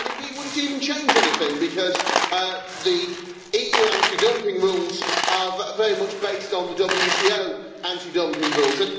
And indeed, would it even change anything because the EU anti dumping rules are very much based on the WTO anti dumping rules.